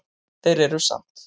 Þeir eru samt